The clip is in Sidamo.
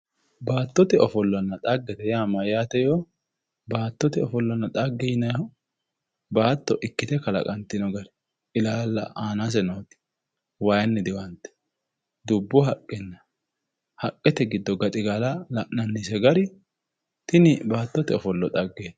Baattote ofollonna dhagge mayyaate yo?,baattote ofollonna dhagge yinnannihu baatto ikkite kalaqatino gara ilaalla anaseno waayinni diwante dubbu haqqenna haqqete giddo gaxigala la'nannise gari tini baattote dhaggeti.